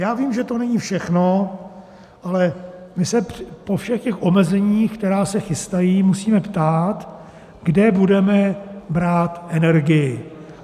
Já vím, že to není všechno, ale my se po všech těch omezení, která se chystají, musíme ptát, kde budeme brát energii.